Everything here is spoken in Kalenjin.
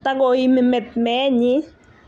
'Takoimi met meenyi.